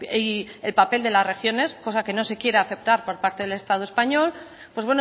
y el papel de las regiones cosa que no se quiera aceptar por parte del estado español pues